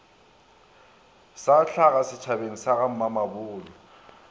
sa hlaga setšhabeng sa gamamabolo